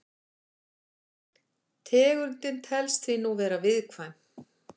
Tegundin telst því nú vera viðkvæm.